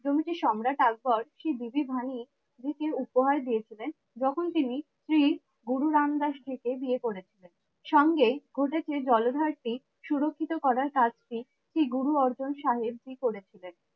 তুমি কি সম্রাট আকবর শ্রী দিদি ভানী কে উপহার দিয়েছিলেন যখন তিনি শ্রী গুরু রামদাসজি কে বিয়ে করেছিলেন। সঙ্গে ঘটেছে জলধার টি সুরক্ষিত করার কাজটি শ্রী গুরু অর্জুন সাহেবজি করেছিলেন।